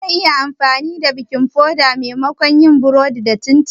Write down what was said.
Zan iya amfani da baking soda maimakon yin burodi ga chin chin dina?